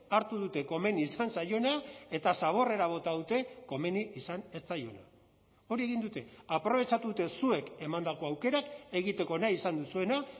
hartu dute komeni izan zaiona eta zaborrera bota dute komeni izan ez zaiona hori egin dute aprobetxatu dute zuek emandako aukerak egiteko nahi izan duzuena